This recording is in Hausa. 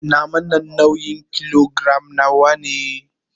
Naman nan ya kai nauyin kilogiram nawa? Tons of people were present at the event.